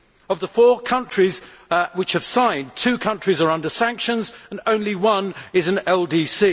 Of the four countries which have signed, two countries are under sanctions and only one is an LDC.